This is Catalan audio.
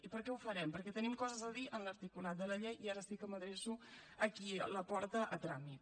i per què ho farem perquè tenim coses a dir en l’articulat de la llei i ara sí que m’adreço a qui la porta a tràmit